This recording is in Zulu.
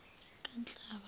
kanhlaba